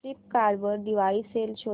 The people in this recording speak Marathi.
फ्लिपकार्ट वर दिवाळी सेल शोधा